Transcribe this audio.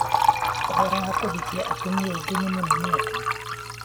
ũhoro wa kũhikia atumia aingĩ na mũnene atĩa?